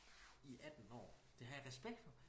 I 18 år det har jeg respekt for